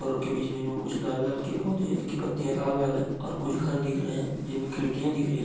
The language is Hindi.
और उनके बीच-बीच में कुछ लाल-लाल के पौधे हैं जिनकी पत्तियाँ लाल-लाल हैं और कुछ घर दिख रहे हैं जिनमें खिड़कियाँ दिख रही --